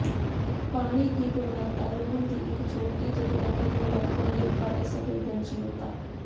ਪਾਣੀ ਦੀ ਗੁਣਵੱਤਾ ਲੂਣ ਦੀ ਇੱਕ ਛੋਟੀ ਜਿਹੀ ਰਕਮ ਨੂੰ ਰੱਖਣ ਲਈ ਘੱਟ ਸੰਵੇਦਨਸ਼ੀਲਤਾ